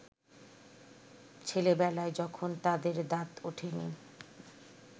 ছেলেবেলায় যখন তাদের দাঁত ওঠেনি